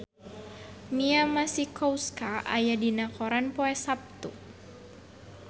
Mia Masikowska aya dina koran poe Saptu